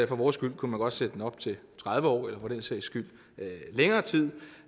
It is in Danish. vores skyld kunne man godt sætte den op til tredive år eller for den sags skyld længere tid